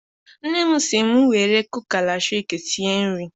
Nne m si m were kuka latriki sie nri.